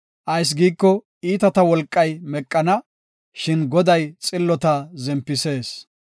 Ayis giiko, iitata wolqay meqana; shin Goday xillota zempisees.